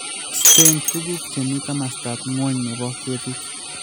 Iste tuguuk che mi kamastap ng'wony ne bo keetit.